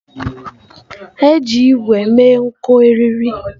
Eji ígwè mee nko eriri.